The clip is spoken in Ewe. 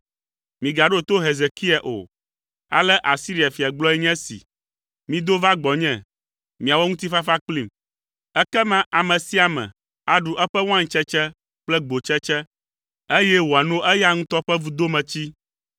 “Migaɖo to Hezekia o. Ale Asiria fia gblɔe nye esi: ‘Mido va gbɔnye, miawɔ ŋutifafa kplim.’ Ekema ame sia ame aɖu eƒe waintsetse kple gbotsetse, eye wòano eya ŋutɔ ƒe vudometsi